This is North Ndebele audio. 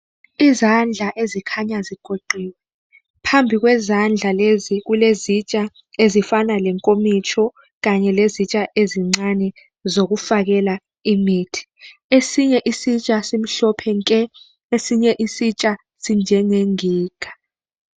Izandla ezikhanya zigoqiwe phambi kwezandla lezi kulezitsha ezifana lenkomitsho kanye lezitsha ezincane zokufakela imithi esinye isitsha simhlophe nke esinye isitsha sinjengenginga.